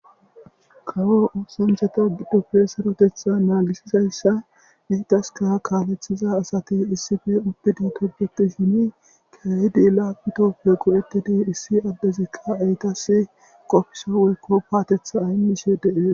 kawo oosancata gidoppe sarotetha naagisizayssa eitaska kaaleththiza asati issife ubbidi tobeti shini keayidi laapitoppe go7etidi issi addezikka eytas qofsa woykko paatetha imishe de'ees